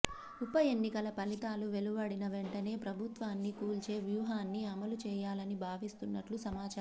ఉప ఎన్నికల ఫలితాలు వెలువడిన వెంటనే ప్రభుత్వాన్ని కూల్చే వ్యూహాన్ని అమలు చేయాలని భావిస్తున్నట్లు సమాచారం